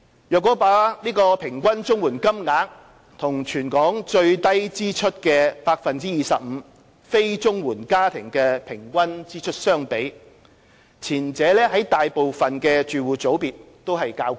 若把平均綜援金額與全港最低支出 25% 非綜援家庭的平均支出相比，前者在大部分住戶組別都較高。